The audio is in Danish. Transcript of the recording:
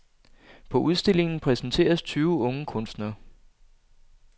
På udstillingen præsenteres tyve unge kunstnere.